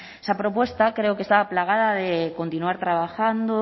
esa propuesta creo que estaba plagada de continuar trabajando